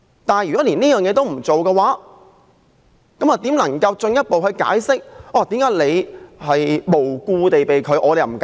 如果政府連這也不做，怎能進一步解釋為何馬凱無故被拒入境？